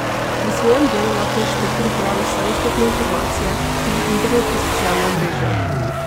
Pri svojem delu lahko inšpektor uporabi vse dostopne informacije tudi internet in socialna omrežja.